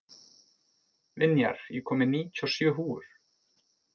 Vinjar, ég kom með níutíu og sjö húfur!